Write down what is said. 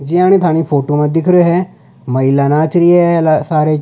जियानि थानी फोटो में दिख रो है महिला नाच री है सारे --